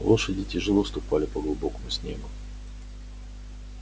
лошади тяжело ступали по глубокому снегу